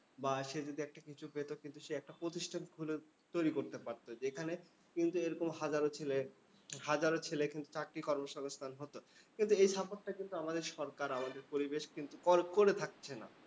বা সে যদি একটা কিছু পেতো। কিন্তু সে একটি প্রতিষ্ঠান খুলে তৈরী করতে পারতো যেখানে কিন্তু এরকম হাজারো ছেলে হাজারো ছেলে এখানে চাকরি কর্মসংস্থান হতো। কিন্তু এই সম্পদটা কিন্তু আমাদের সরকার, আমাদের পরিবেশ কিন্তু করে করে থাকছে না।